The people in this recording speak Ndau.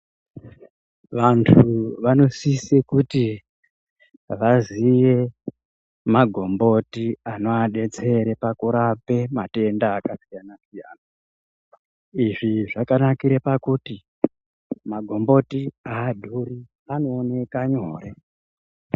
Antu vanosise kuti vaziye magomboti anovadetsera pakurapa matenda izvizvakanakira pakuti makomboti adhuri anooneka nyore.